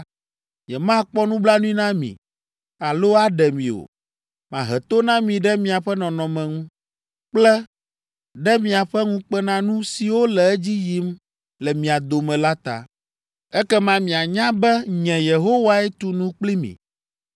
Nyemakpɔ nublanui na mi alo aɖe mi o. Mahe to na mi ɖe miaƒe nɔnɔme ŋu kple ɖe miaƒe ŋukpenanu siwo le edzi yim le mia dome la ta. “ ‘Ekema mianya be nye, Yehowae tu nu kpli mi.